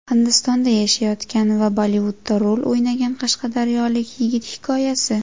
Hindistonda yashayotgan va Bollivudda rol o‘ynagan qashqadaryolik yigit hikoyasi.